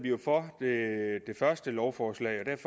for lovforslaget